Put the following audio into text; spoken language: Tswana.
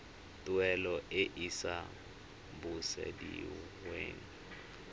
tuelo e e sa busediweng